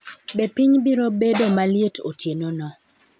Be piny biro bedo maliet otienono?